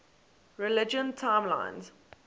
religion timelines